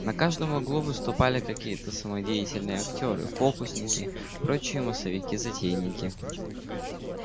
на каждом углу выступали какие-то самодеятельные актёры фокусники прочие массовики-затейники